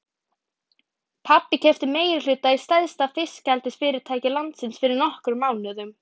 Pabbi keypti meirihluta í stærsta fiskeldisfyrirtæki landsins fyrir nokkrum mánuðum.